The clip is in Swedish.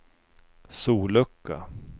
sollucka